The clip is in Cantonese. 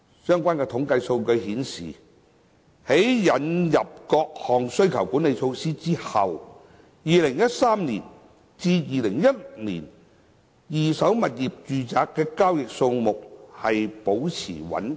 相關統計數據顯示，在引入各項需求管理措施後 ，2013 年至2016年的二手住宅物業交易數量保持穩定。